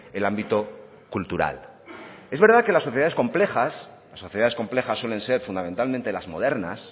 el ámbito cultural es verdad que las sociedades complejas las sociedades complejas suelen ser fundamentalmente las modernas